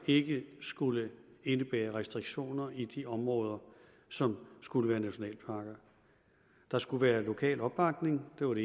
ikke skulle indebære restriktioner i de områder som skulle være nationalparker der skulle være lokal opbakning det var